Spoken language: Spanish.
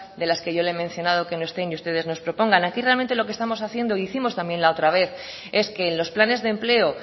de las que yo le he mencionado que no están y ustedes nos propongan aquí realmente lo que estamos haciendo hicimos también la otra vez es que en los planes de empleo